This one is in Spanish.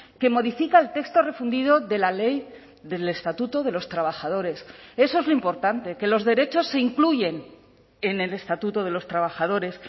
que modifica el texto refundido de la ley del estatuto de los trabajadores eso es lo importante que los derechos se incluyen en el estatuto de los trabajadores